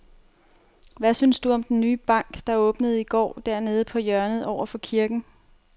Hvad synes du om den nye bank, der åbnede i går dernede på hjørnet over for kirken?